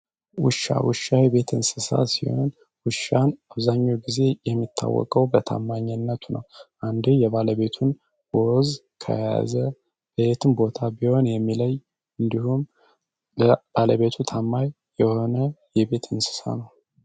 ዉሻ ዉሻ የእቤት እንስሳት ሲሆን ዉሻ አብዛኛዉን ጊዜ የሚታወቀው በታማኝነቱ ነዉ።